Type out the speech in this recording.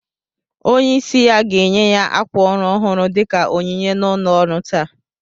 Onye isi ya ga-enye ya ákwà órù ọhụrụ dika onyinye na ụlo ọrụ taa